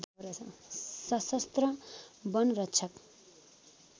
सशस्त्र वनरक्षक